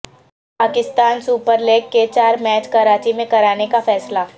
Pakistan Super League کے چار match Karachi میں کرانے کا فیصلہ